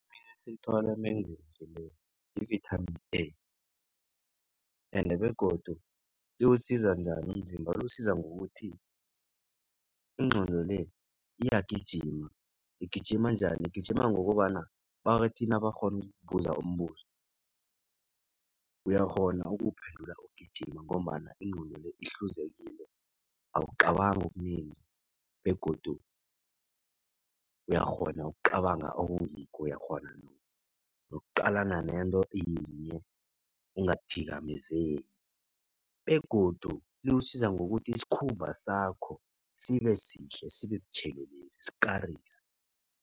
Silithola emengweni yi-vithamini A ende begodu iwusiza njani umzimba? Liwusiza ngokuthi ingqondo le iyagijima. Igijima njani? Igijima ngokobana nabathi bakghona ukukubuza umbuzo uyakghona ukuwuphendula ugijima ngombana ingqondo le ihluzekile. Awucabangi okunengi begodu uyakghona ukucabanga okungikho. Uyakghona nokuqalana nento yinye ungathikamezeki begodu likusiza ngokuthi isikhumba sakho sibe sihle sibe butjhelelezi sikarise.